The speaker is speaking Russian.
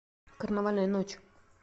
карнавальная ночь